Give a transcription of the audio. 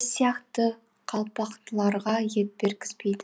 біз сияқты қалпақтыларға ет бергізбейді